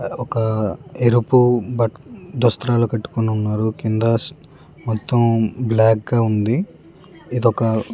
ఒక ఎరుపు బ దుస్తులు కట్టుకొని ఉన్నారు. కింద మొత్తం బ్లాక్ ఉంది. ఇదొక --